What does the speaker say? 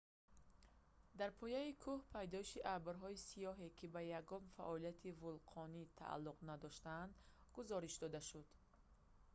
дар пояи кӯҳ пайдоиши абрҳои сиёҳе ки ба ягон фаъолияти вулқонӣ тааллуқ надоштанд гузориш дода шуд